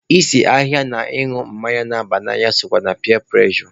Ịse ahịhịa na ịñụ mmanya na-aba n'anya sokwa na piya prụrejọ.